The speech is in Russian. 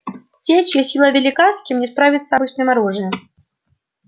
те чья сила велика с кем не справиться обычным оружием